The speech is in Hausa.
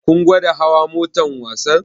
Kun gwada hawa motar wasan?